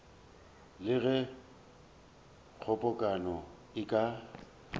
le ge kgobokano e ka